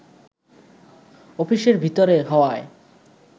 অফিসের ভিতরে হওয়ায়